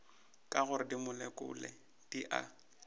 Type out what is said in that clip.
ke gore dimolekule di a